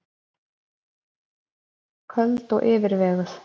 Köld og yfirveguð.